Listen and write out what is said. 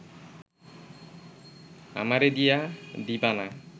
আমারে দিয়া দিবা না